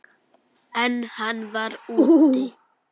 En hann var úti.